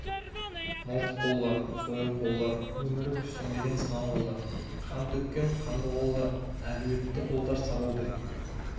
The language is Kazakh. мыртық қолдар сояу қолдар өмірі күстенбеген сылаң қолдар қан төккен қанды қолдар әлуетті қолдар сабаудай